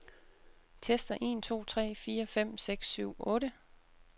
Tester en to tre fire fem seks syv otte.